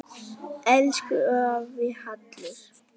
Elsku afi Hallur.